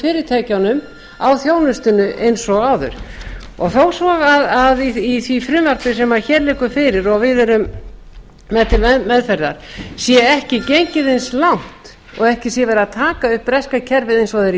fyrirtækjunum á þjónustunni eins og áður og þó svo að í því frumvarpi sem hér liggur fyrir og við erum með til meðferðar sé ekki gengið eins langt og ekki sé verið að taka upp breska kerfið eins og það er í